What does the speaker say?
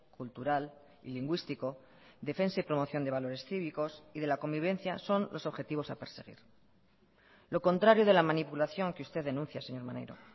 cultural y lingüístico defensa y promoción de valores cívicos y de la convivencia son los objetivos a perseguir lo contrario de la manipulación que usted denuncia señor maneiro